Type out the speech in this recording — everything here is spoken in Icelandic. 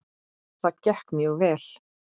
Það gekk mjög vel.